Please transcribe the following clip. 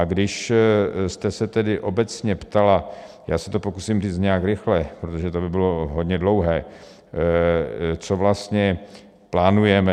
A když jste se tedy obecně ptala, já se to pokusím říct nějak rychle, protože to by bylo hodně dlouhé, co vlastně plánujeme.